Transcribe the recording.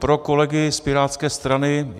Pro kolegy z pirátské strany.